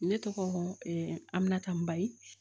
Ne tɔgɔ aminata maali